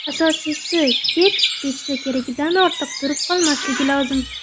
Asosiysi, keks pechda keragidan ortiq turib qolmasligi lozim.